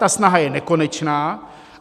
Ta snaha je nekonečná.